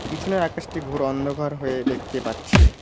পিছনের আকাশটি ঘোর অন্ধকার হয়ে দেখতে পাচ্ছি।